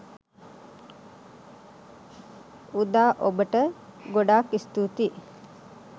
උදා ඔබට ගොඩක් ස්තුතියි